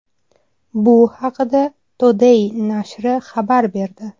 Bu haqda Today nashri xabar berdi .